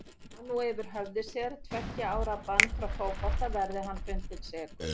Hann á nú yfir höfði sér tveggja ára bann frá fótboltanum verði hann fundinn sekur.